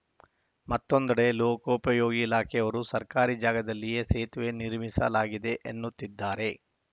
ಮತ್ತೊಂದೆಡೆ ಲೋಕೋಪಯೋಗಿ ಇಲಾಖೆಯವರು ಸರ್ಕಾರಿ ಜಾಗದಲ್ಲಿಯೇ ಸೇತುವೆ ನಿರ್ಮಿಸಲಾಗಿದೆ ಎನ್ನುತ್ತಿದ್ದಾರೆ